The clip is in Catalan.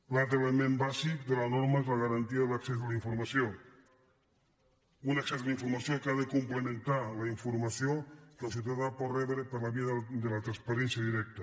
un altre element bàsic de la norma és la garantia de l’accés a la informació un accés a la informació que ha complementar la informació que el ciutadà pot rebre per la via de la transparència directa